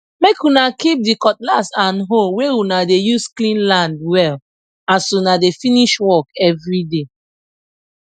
make una keep the cutlass and hoe wey una dey use clean land well as una dey finsh work everyday